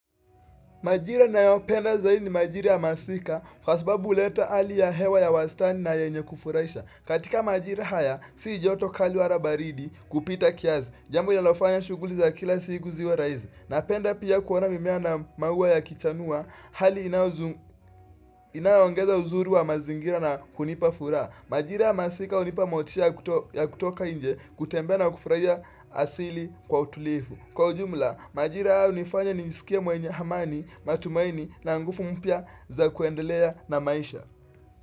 Majira nayo penda zaidi ni majiri ya masika, kwa sababu uleta ali ya hewa ya wasitani na ya inye kufurahisa. Katika majiri haya, si joto kali walabaridi kupita kiazi. Jambo lina lofanya shughuli za kila siku ziwe raizi. Na penda pia kuona mimea na maua ya kichanua, hali inayoongeza uzuri wa mazingira na kunipa furaha. Majira ya masika unipa motisha ya kutoka inje, kutembea na kufurahia asili kwa utulifu. Kwa ujumla, majira hayo unifanya nisikia mwenye amani, matumaini na nguvu mpia za kuendelea na maisha.